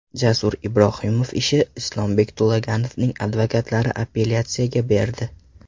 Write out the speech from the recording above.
Jasur Ibrohimov ishi: Islombek To‘laganovning advokatlari apellyatsiyaga berdi.